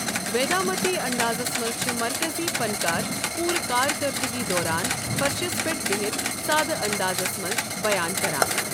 ویدامتی اَنٛدازس منٛز چھُ مرکزی فنکار پورٕ کارکَردٕگی دوران فرشس پٮ۪ٹھ بِہتھ سادٕ اَنٛدازس منٛز بیان کران۔